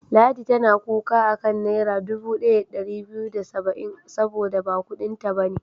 Ladi tana kuka a kan Naira dubu ɗaya da ɗari biyu da saba'in saboda ba kuɗinta ba ne.